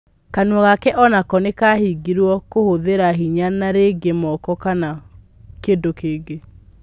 Kanua gake onako nikahingirwo . Kũhũthĩra hinya na rĩngĩ moko kana kĩndũkĩngĩ.